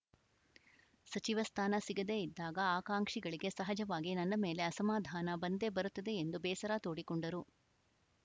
ಸಚಿವ ಸ್ಥಾನ ಸಿಗದೇ ಇದ್ದಾಗ ಆಕಾಂಕ್ಷಿಗಳಿಗೆ ಸಹಜವಾಗಿ ನನ್ನ ಮೇಲೆ ಅಸಮಾಧಾನ ಬಂದೇ ಬರುತ್ತದೆ ಎಂದು ಬೇಸರ ತೋಡಿಕೊಂಡರು